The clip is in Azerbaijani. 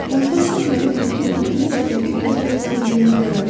Onda sən mənim hökmümün necə dəqiq yerinə yetirildiyini görərsən.